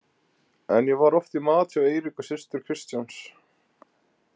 En ég var oft í mat hjá Eiríku systur Kristjáns.